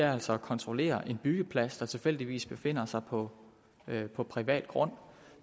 er altså at kontrollere en byggeplads der tilfældigvis befinder sig på privat på privat grund